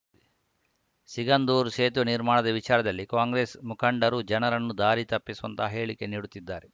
ಸಿಗಂದೂರು ಸೇತುವೆ ನಿರ್ಮಾಣದ ವಿಚಾರದಲ್ಲಿ ಕಾಂಗ್ರೆಸ್‌ ಮುಖಂಡರು ಜನರನ್ನು ದಾರಿ ತಪ್ಪಿಸುವಂತಹ ಹೇಳಿಕೆ ನೀಡುತ್ತಿದ್ದಾರೆ